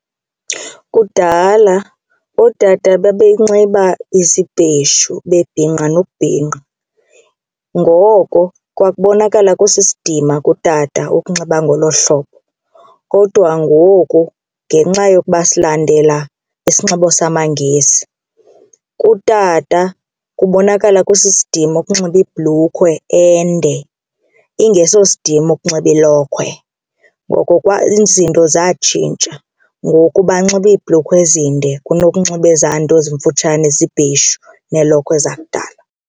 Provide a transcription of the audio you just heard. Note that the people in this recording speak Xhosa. Kudala ootata babenxiba izibheshu bebhinqa nokubhinqa. Ngoko kwakubonakala kwesidima kutata ukunxiba ngolo hlobo kodwa ngoku ngenxa yokuba silandela isinxibo samaNgesi kutata kubonakala kusisidima ukunxiba ibhlukhwe ende ingeso sidima ukunxiba ilokhwe. Ngoku izinto zatshintsha ngoku banxiba iibhlukhwe ezinde kunokunxiba ezaa nto zimfutshane zibheshu neelokhwe zakudala.